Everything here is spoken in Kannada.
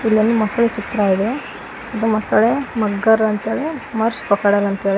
ಇಲ್ಲೊಂದು ಮೊಸಳೆ ಚಿತ್ರ ಇದೆ ಮೊಸಳೆ ಮಗ್ಗರ್ ಅಂತಾರೆ ಮಾರ್ಶ್ ಕ್ರೊಕೊಡೈಲ್ ಅಂತಾರೆ.